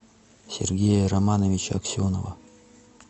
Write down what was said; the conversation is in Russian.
сергея романовича аксенова